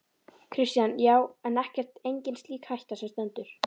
Kristján: Já, en ekkert, engin slík hætta sem stendur?